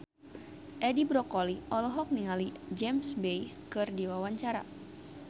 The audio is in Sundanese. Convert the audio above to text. Edi Brokoli olohok ningali James Bay keur diwawancara